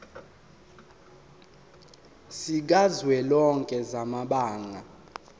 sikazwelonke samabanga r